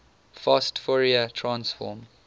fast fourier transform